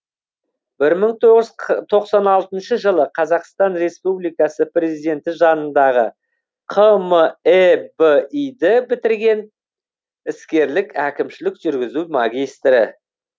бір мың тоғыз жүз тоқсан алтыншы жылы қазақстан республикасы президенті жанындағы қмэби ді бітірген іскерлік әкімшілік жүргізу магистрі